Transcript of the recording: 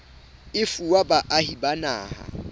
e fuwa baahi ba naha